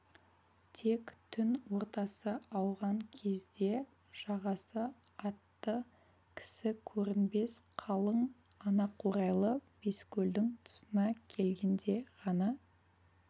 тек түн ортасы ауған кезде жағасы атты кісі көрінбес қалың анақурайлы баскөлдің тұсына келгенде ғана